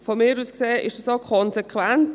Aus meiner Sicht ist dies auch konsequent.